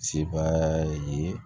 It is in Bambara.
Sebaa ye